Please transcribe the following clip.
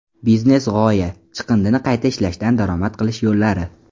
Biznes-g‘oya: chiqindini qayta ishlashdan daromad qilish yo‘llari.